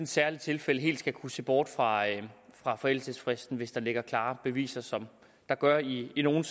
særligt tilfælde helt skal kunne se bort fra forældelsesfristen hvis der ligger klare beviser som der gør i i nogle